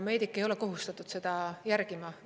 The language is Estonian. Meedik ei ole kohustatud seda järgima.